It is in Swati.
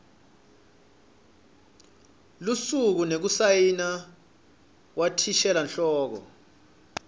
lusuku nekusayina kwathishelanhloko